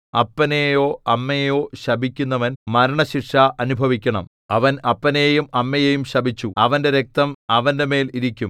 അപ്പനെയോ അമ്മയെയോ ശപിക്കുന്നവൻ മരണശിക്ഷ അനുഭവിക്കണം അവൻ അപ്പനെയും അമ്മയെയും ശപിച്ചു അവന്റെ രക്തം അവന്റെമേൽ ഇരിക്കും